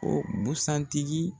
O busan tigi